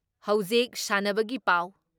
ꯍꯧꯖꯤꯛ ꯁꯥꯟꯅꯕꯒꯤ ꯄꯥꯎ ꯫